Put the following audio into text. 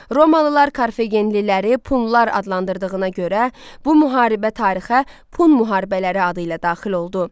Romalılar Karfagenliləri punlar adlandırdığına görə bu müharibə tarixə Pun müharibələri adı ilə daxil oldu.